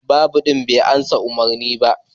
Babur din bai amsa ma'urin ba.